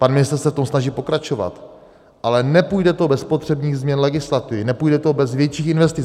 Pan ministr se v tom snaží pokračovat, ale nepůjde to bez potřebných změn legislativy, nepůjde to bez větších investic.